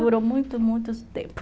Durou muito, muito tempo.